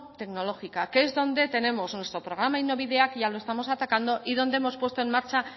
tecnológica que es donde tenemos nuestro programa que ya lo estamos atacando y donde hemos puesto en marcha